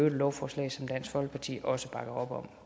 et lovforslag som dansk folkeparti også bakker op om